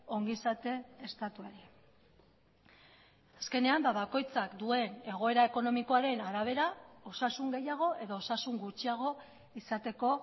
ongizate estatuari azkenean bakoitzak duen egoera ekonomikoaren arabera osasun gehiago edo osasun gutxiago izateko